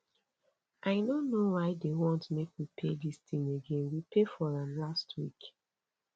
i no know why dey want make we pay dis thing again we pay for am last week